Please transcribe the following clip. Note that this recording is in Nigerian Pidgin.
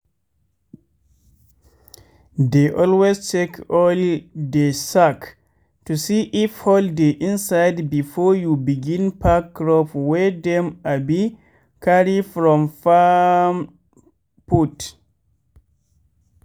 dey always check all de sack to see if hole dey inside before you begin pack crop wey dem abi carry from farm put.